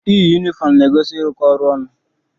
Iyi yunifọọm na-egosi ịrụkọ ọrụ ọnụ.